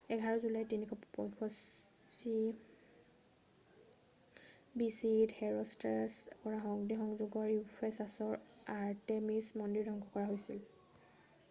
21 জুলাই 356 বিচিইত হেৰʼষ্ট্ৰেটাছে কৰা অগ্নিসযোগত ইউফেচাচৰ আৰ্তেমিচ মন্দিৰ ধ্বংস হৈছিল।